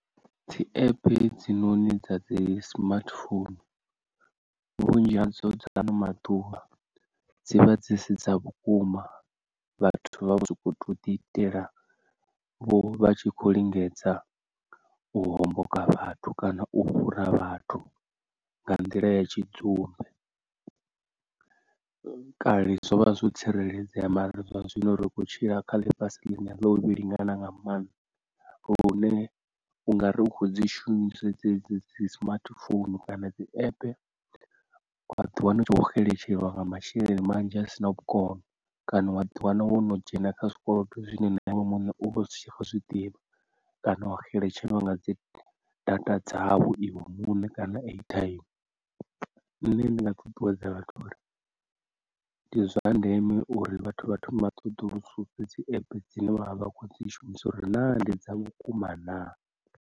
Dzi app hedzinoni dzi smartphone vhunzhi hadzo dza haano maḓuvha, dzi vha dzi si dza vhukuma vhathu vha vho so kou tou ḓi itela, vho vha tshi khou lingedza u homboka vhathu kana u fhura vhathu nga nḓila ya tshidzumbe, kale zwovha zwo tsireledzea mara zwa zwino ri kho tshila kha ḽifhasi ḽine ḽa u vhe lingana nga maanḓa lune unga rikho dzi shumisa dzedzi dzi smartphone kana dzi app wa ḓiwana u tshi vho xeletshelwa nga masheleni manzhi a sina vhukono, kana wa ḓi wana wo no dzhena kha zwikolodo zwine na iwe muṋe u vha u sa tsha zwiḓivha, kana wa xeletshelwa nga dzi data dzau iwe muṋe kana airtime. Nṋe ndi nga ṱuṱuwedza vhathu uri ndi zwa ndeme uri vhathu vha thome vha ṱoḓulususe dzi app dzine vha vha vha khou dzi shumisa uri na ndi dza vhukuma na.